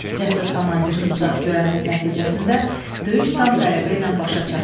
Cəsur komandirin uzaqgörənliyi nəticəsində döyüş tam qələbə ilə başa çatdı.